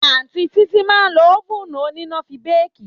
Àtiń Titi mà ń lò òfuńu onina fi béki